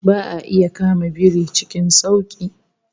Ba'a iya kama biri cikin sauki